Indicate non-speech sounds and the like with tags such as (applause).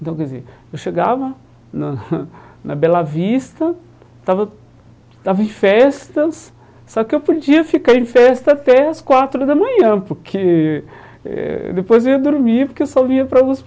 Então, quer dizer, eu chegava na (laughs) na Bela Vista, estava estava em festas, só que eu podia ficar em festa até as quatro da manhã, porque eh depois eu ia dormir, porque eu só vinha para a USP